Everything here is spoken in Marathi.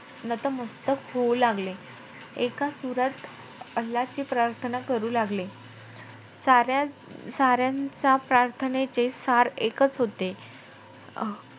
नतमस्तक होऊ लागले एका सुरात अल्लाची प्राथर्ना करू लागले. साऱ्या~ साऱ्यांच्या प्राथर्नेचे सार एकचं होते.